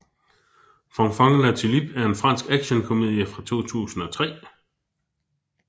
Fanfan La Tulipe er en fransk actionkomedie fra 2003